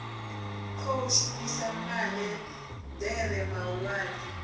khou shumisa maḽe ḓere mahulwane